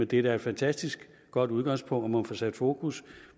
det er da et fantastisk godt udgangspunkt og får sat fokus